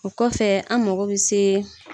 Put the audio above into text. O kɔfɛ an mako bɛ se.